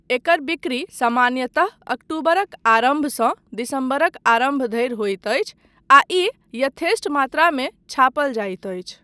एकर बिक्री सामान्यतः अक्टूबरक आरम्भसँ दिसम्बरक आरम्भ धरि होइत अछि आ ई यथेष्ट मात्रामे छापल जाइत अछि।